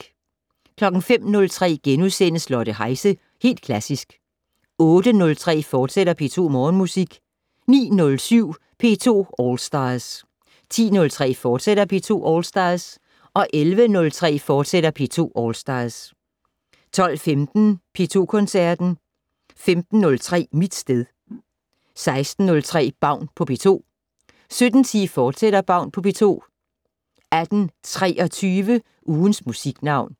05:03: Lotte Heise - Helt Klassisk * 08:03: P2 Morgenmusik, fortsat 09:07: P2 All Stars 10:03: P2 All Stars, fortsat 11:03: P2 All Stars, fortsat 12:15: P2 Koncerten 15:03: Mit sted 16:03: Baun på P2 17:10: Baun på P2, fortsat 18:23: Ugens Musiknavn